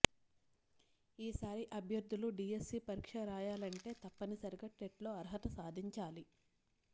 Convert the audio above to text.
ఈసారి అభ్యర్థులు డీఎస్సీ పరీక్ష రాయాలంటే తప్పనిసరిగా టెట్లో అర్హత సాధించాలి